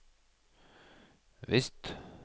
visst